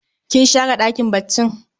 Kin share ɗakin baccin?